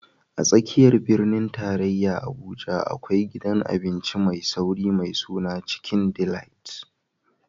A tsakiyar birnin tarayya Abuja, akwai gidan abinci mai sauri mai suna Chicken Delight.